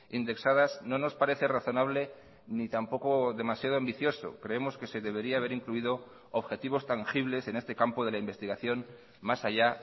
indexadas no nos parece razonable ni tampoco demasiado ambicioso creemos que se debería haber incluido objetivos tangibles en este campo de la investigación más allá